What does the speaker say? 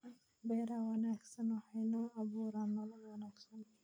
Beeraha wanaagsani waxay inoo abuuraan nolol wanaagsan.